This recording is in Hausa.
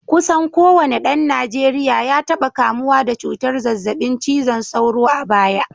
Kusan kowane dan Najeriya ya taba kamuwa da cutar zazzabin cizon sauro a baya